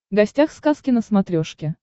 гостях сказки на смотрешке